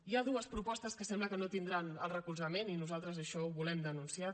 hi ha dues propostes que sembla que no tindran el recolzament i nosaltres això ho volem denunciar